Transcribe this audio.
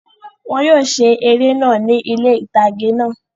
Wọn yóò ṣe eré náà ni ilé itage náà